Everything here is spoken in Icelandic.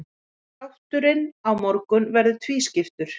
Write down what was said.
Þátturinn á morgun verður tvískiptur.